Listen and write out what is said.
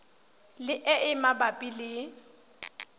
le e e mabapi le